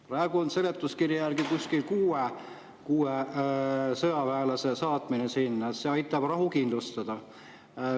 Praegu on seletuskirja järgi kuskil kuue sõjaväelase saatmine sinna, see aitab rahu kindlustada.